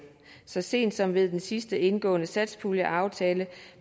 så sent som ved den sidst indgåede satspuljeaftale